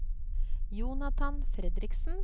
Jonathan Fredriksen